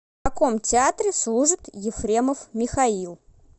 в каком театре служит ефремов михаил